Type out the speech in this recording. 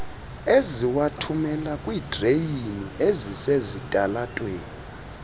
eziwathumela kwiidreyini ezisesitalatweni